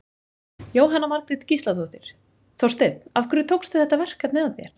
Jóhanna Margrét Gísladóttir: Þorsteinn, af hverju tókstu þetta verkefni að þér?